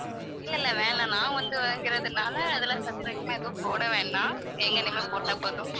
இல்ல இல்ல வேண்டாம் நான் வந்து வாங்குறதுனால அதெல்லாம் surprise லாம் எதுவும் போட வேண்டாம் எங்க name ஏ போட்டா போதும்